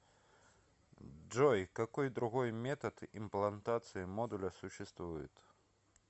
джой какой другой метод имплантации модуля существует